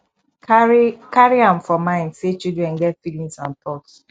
carry carry am for mind sey children get feelings and thought